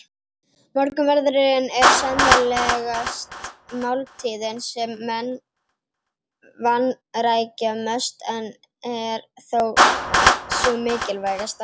Morgunverðurinn er sennilegast máltíðin sem menn vanrækja mest en er þó sú mikilvægasta.